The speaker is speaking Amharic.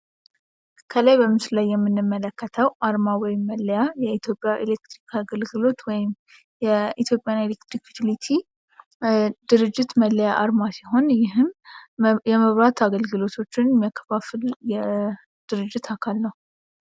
ከላይ በምስሉ ላይ የምንመለከተው አርማ ወይም መለያ የኢትዮጵያ ኤሌክትሪክ አገልግሎት ወይም የኢትዮጵያ ኤሌክትሪክ ዩቲሊቲ መለያ አርማ ሲሆን፤ ይህም የመብራት አገልግሎቶችህን የሚያከፋፍል የድርጅት አካል ነው።